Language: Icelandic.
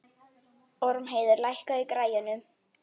Ormheiður, lækkaðu í græjunum.